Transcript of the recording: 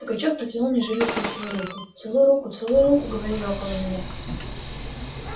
пугачёв протянул мне жилистую свою руку целуй руку целуй руку говорили около меня